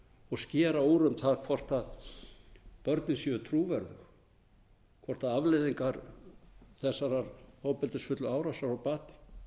og skera úr um það hvort börnin séu trúverðug hvort afleiðingar þessarar ofbeldisfullu árásar á barn